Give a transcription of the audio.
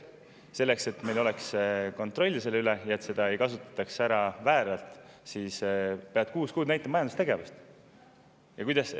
Selleks et meil oleks kontroll selle üle ja et seda ei kasutataks vääralt, peab näitama, kuus kuud majandustegevust.